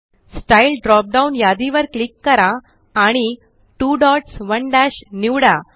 style drop down यादी वर click करा आणि 2 डॉट्स 1 दश निवडा